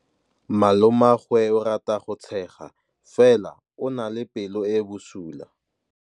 Malomagwe o rata go tshega fela o na le pelo e e bosula.